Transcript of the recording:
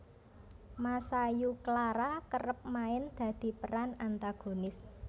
Masayu Clara kerep main dadi peran antagonis